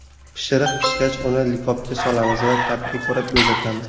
Pishiriq pishgach, uni likopga solamiz va ta’bga ko‘ra bezatamiz.